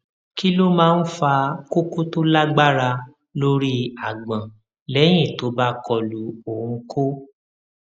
kí ló máa ń fa koko tó lágbára lórí agbon lẹyìn tó bá kọlu oun ko